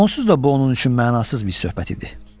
Onsuz da bu onun üçün mənasız bir söhbət idi.